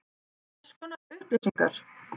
Hvers konar upplýsingar?